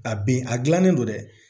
A ben a gilannen don dɛ